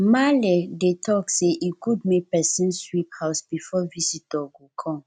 maale dey talk sey e good make pesin sweep house before visitor go come